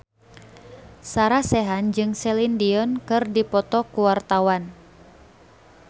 Sarah Sechan jeung Celine Dion keur dipoto ku wartawan